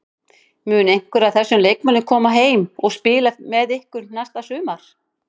Mun einhver af þessum leikmönnum koma heim og spila með ykkur næsta sumar?